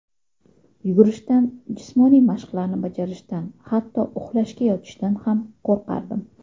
Yugurishdan, jismoniy mashqlarni bajarishdan hatto uxlashga yotishdan ham qo‘rqardim.